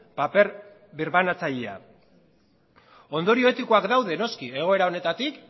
paper birbanatzailea ondorio etikoak daude noski egoera honetatik